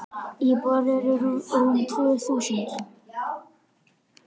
Íbúar eru rúm tvö þúsund.